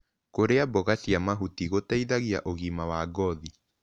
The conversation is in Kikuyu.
Kũrĩa mboga cia mahũtĩ gũteĩthagĩa ũgima wa ngothĩ